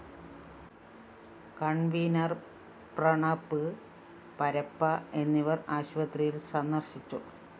convener‍ Pranav Parappa എന്നിവര്‍ ആശുപത്രിയില്‍ സന്ദര്‍ശിച്ചു